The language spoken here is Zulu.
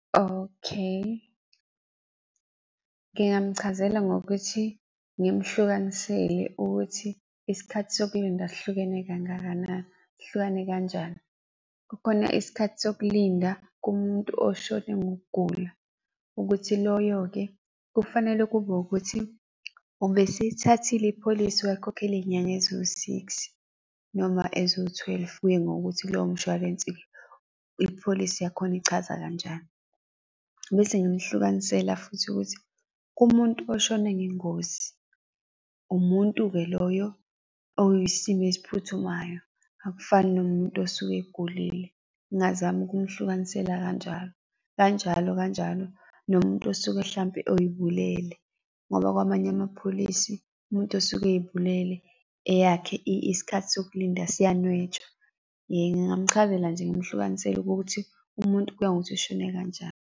Okay. Ngingamuchazela ngokuthi ngimhlukanisele ukuthi isikhathi sokulinda sihlukene kangakanani, sihlukane kanjani. Kukhona isikhathi sokulinda kumuntu oshone ngokugula, ukuthi loyo-ke kufanele kube ukuthi ubeseyithathile ipholisi wakhokhela iy'nyanga eziwu-six noma eziwu-twelve, kuye ngokuthi kulowo mshwalensi ipholisi yakhona ichaza kanjani. Bese ngimehlukanisela futhi ukuthi, umuntu oshone ngengozi, umuntu-ke loyo oyisimo esiphuthumayo, akufani nomuntu osuke egulile. Ngingazama ukumhlukanisela kanjalo, kanjalo, kanjalo, kanjalo, nomuntu osuke hlampe oy'bulele, ngoba kwamanye amapholisi umuntu osuke ey'bulele eyakhe isikhathi sokulinda siyanwetshwa. Ngingamchazela nje ngimhlukanisele ukuthi umuntu kuya ngokuthi ushone kanjani.